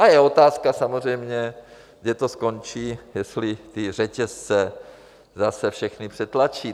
A je otázka samozřejmě, kde to skončí, jestli ty řetězce zase všechny přetlačí.